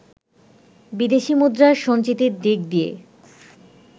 বিদেশি মুদ্রার সঞ্চিতির দিক দিয়ে